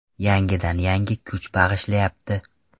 Yangidan yangi kuch bag‘ishlayapti.